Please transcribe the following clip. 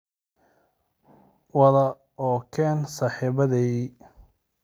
wade oo keen saaxiibaday